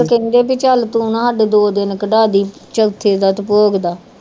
ਕਹਿੰਦੇ ਵੀ ਚੱਲ ਤੂੰ ਨਾ ਸਾਡੇ ਦੋ ਦਿਨ ਕਢਾ ਦੇਈਂ ਚੌਥੇ ਦਾ ਤੇ ਭੋਗ ਦਾ।